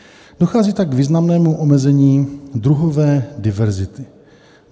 Dochází tak k významnému omezení druhové diverzity.